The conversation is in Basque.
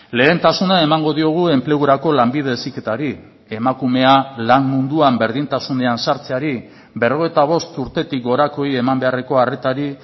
lehentasuna emango diogu enplegurako lanbide heziketari emakumea lan munduan berdintasunean sartzeari berrogeita bost urtetik gorakoei eman beharreko arretari